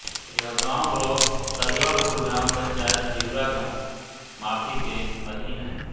यह गाँव ब्लाॅक तजवापुर ग्राम पंचायत जिहुरा माफी के अधीन है